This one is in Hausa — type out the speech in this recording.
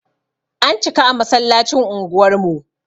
An cika a masallacin unguwar mu.